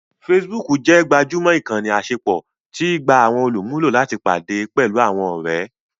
Facebook jẹ́ gbajúmọ̀ ìkànnì àṣepọ̀ tí í gba àwọn olùmúlò láti pàdé pẹ̀lú àwọn ọ̀rẹ́